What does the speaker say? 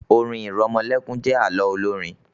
orin iremolekun jé àlọ Olorin.